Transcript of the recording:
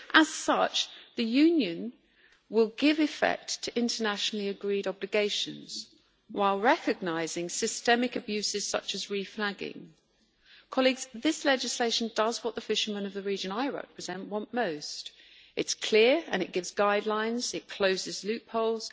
As such, the Union will give effect to internationally agreed obligations, while recognising systemic abuses, such as reflagging. This legislation does what the fishermen of the region I represent want most. It is clear and it gives guidelines it closes loopholes